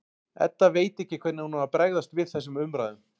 Edda veit ekki hvernig hún á að bregðast við þessum umræðum.